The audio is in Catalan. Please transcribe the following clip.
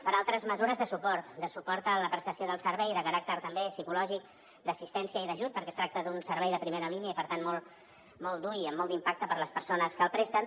per altres mesures de suport de suport a la prestació del servei de caràcter també psicològic d’assistència i d’ajut perquè es tracta d’un servei de primera línia i per tant molt dur i amb molt d’impacte per a les persones que el presten